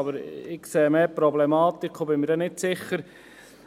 Aber ich sehe eher die Problematik und bin nicht sicher,